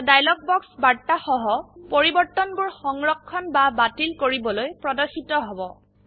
এটা dialog box বাৰ্তা সহ পৰিবৰ্তনবোৰ সংৰক্ষণ বা বাতিল কৰিবলৈ প্ৰদৰ্শিত হব